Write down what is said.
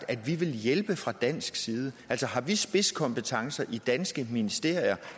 at vi ville hjælpe fra dansk side altså har vi spidskompetencer i danske ministerier